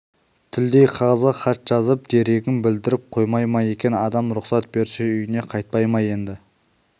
тілдей қағазға хат жазып дерегін білдіріп қоймай ма екен адам рұқсат берсе үйіне қайтпай ма енді